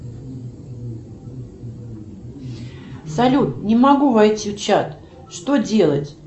салют не могу войти в чат что делать